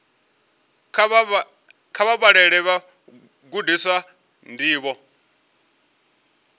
kha vha vhalele vhagudiswa ndivho